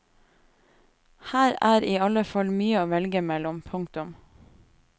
Her er i alle fall mye å velge mellom. punktum